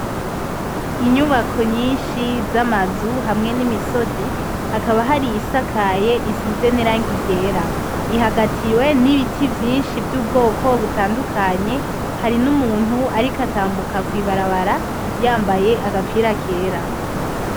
Inyubako nyinshi zama nzu hamwe n'imisozi hakaba hari iy'isakaye isize niragi ryera ihagatiwe nibintu vyinshi vy'ubwoko butadukanye hari numuntu ariko utambuka kw'ibarabara yambaye agapira kera.